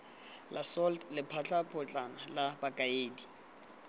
la salt lephatapotlana la bokaedi